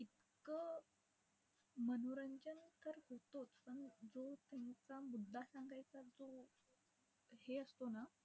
इतकं मनोरंजन तर होतोच, पण जो त्यांचा मुद्दा सांगायचा जो हे असतो ना